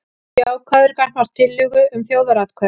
Jákvæður gagnvart tillögu um þjóðaratkvæði